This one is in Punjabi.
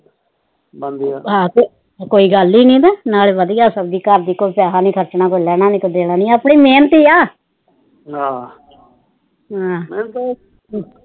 ਹਾ ਫਿਰ ਕੋਈ ਗੱਲਈ ਨੀ ਨਾਲੇ ਵਧੀਆਂ ਸਬਜੀ ਘਰ ਦੀ ਕੋਈ ਪੈਸਾ ਨੀ ਖਰਚਣਾ ਪੈਂਦਾ ਨਾਲੇ ਕੋਈ ਦੇਣਾ ਨੀ ਆਪਣੀ ਮਿਹਨਤ ਹੀ ਆ ਆਹ ਹਾ